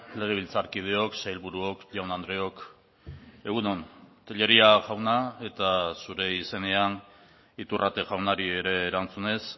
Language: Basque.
legebiltzarkideok sailburuok jaun andreok egun on tellería jauna eta zure izenean iturrate jaunari ere erantzunez